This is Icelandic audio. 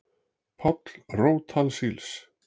Páll rót alls ills